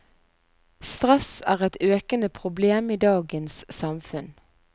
Stress er et økende problem i dagens samfunn.